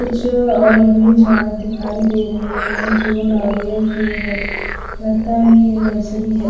कुछ और भी झार दिखाई दे रहे है जो नारियल के है लगता है ये नर्सरी है।